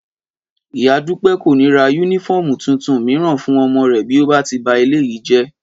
Ìyá Dúpẹ́ kò ní ra yúnífọ́ọ̀mù tuntun mìíràn fún ọmọ rẹ̀ bí ó bá ti ba eléyìí jẹ́